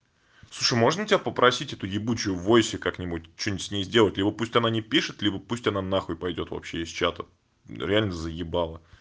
слушай можно тебя попросить эту ебучую войсе как нибудь что-то с ней сделать либо пусть она не пишет либо пусть она на хуй пойдёт вообще из чата реально заебала